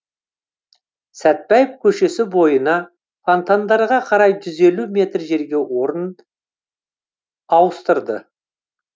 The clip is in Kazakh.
сәтбаев көшесі бойына фонтандарға қарай жүз елу метр жерге орнын ауыстырды